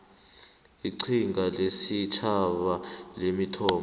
iqhinga lesitjhaba lemithombo